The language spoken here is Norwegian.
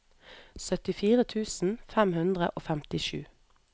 syttifire tusen fem hundre og femtisju